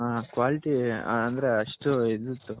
quality ಅಂದ್ರೆ ಅಷ್ಟು ಇದಿತು